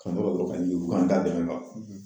Ka mɔgɔ ka k'an da bɛnnen don a kan